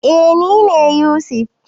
Eh nine Yusuf.